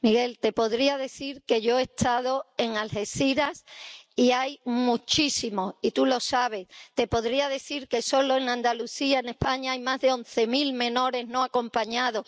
Miguel, te podría decir que yo he estado en Algeciras y hay muchísimos, y tú lo sabes. Te podría decir que solo en Andalucía, en España, hay más de once mil menores no acompañados.